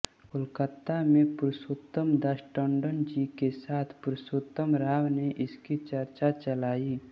कोलकाता में पुरुषोत्तमदास टंडन जी के साथ पुरुषोत्तम राव ने इसकी चर्चा चलायी